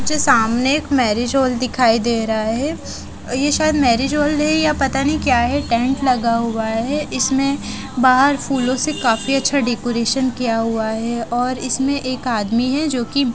जो सामने एक मैरिज हॉल दिखाई दे रहा है ये शायद मैरिज हॉल है या पता नहीं क्या है टेंट लगा हुआ है इसमें बाहर फूलों से कफी अच्छा डेकोरेशन किया हुआ है और इसमें एक आदमी है जोकि--